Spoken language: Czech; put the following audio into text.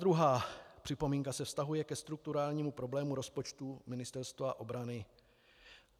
Druhá připomínka se vztahuje ke strukturálnímu problému rozpočtu Ministerstva obrany.